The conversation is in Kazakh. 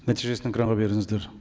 нәтижесін экранға беріңіздер